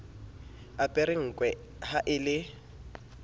apere nkwe ha e le